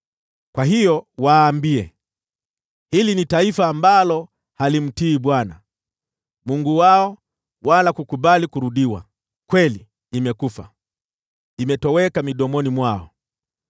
Kwa hiyo waambie, ‘Hili ni taifa ambalo halimtii Bwana , Mungu wao, wala kukubali maonyo. Kweli imekufa, imetoweka midomoni mwao.